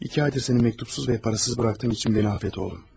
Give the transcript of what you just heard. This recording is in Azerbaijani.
İki aydır səni məktubsuz və pulsuz buraxdığım üçün məni bağışla oğlum.